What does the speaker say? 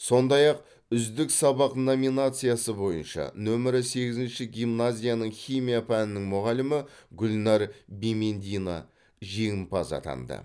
сондай ақ үздік сабақ номинациясы бойынша нөмірі сегізінші гимназияның химия пәнінің мұғалімі гүлнәр бимендина жеңімпаз атанды